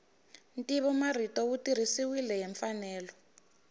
ntivomarito wu tirhisiwile hi mfanelo